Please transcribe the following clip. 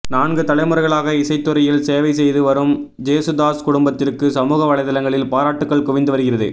நான்கு தலைமுறைகளாக இசைத்துறையில் சேவை செய்து வரும் ஜேசுதாஸ் குடும்பத்திற்கு சமூக வலைத்தளங்களில் பாராட்டுக்கள் குவிந்து வருகிறது